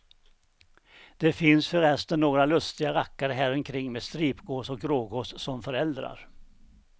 Det finns förresten några lustiga rackare häromkring med stripgås och grågås som föräldrar.